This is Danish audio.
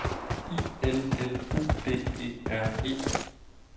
I L L U D E R E